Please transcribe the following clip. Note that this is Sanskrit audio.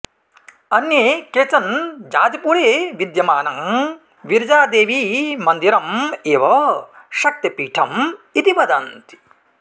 अन्ये केचन जाजपुरे विद्यमानं विरजादेवीमन्दिरम् एव शक्तिपीठम् इति वदन्ति